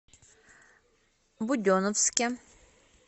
буденновске